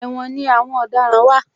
Ẹ̀wòn ni àwọn ọ̀daràn wà